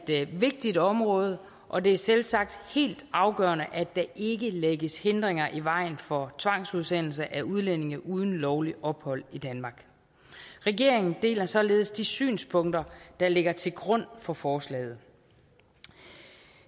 et vigtigt område og det er selvsagt helt afgørende at der ikke lægges hindringer i vejen for tvangsudsendelse af udlændinge uden lovligt ophold i danmark regeringen deler således de synspunkter der ligger til grund for forslaget